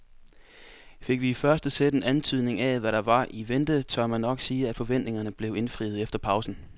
Fik vi i første sæt en antydning af hvad der var i vente, tør man nok sige at forventningerne blev indfriet efter pausen.